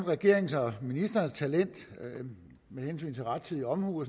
regeringens og ministerens talent med hensyn til rettidig omhu og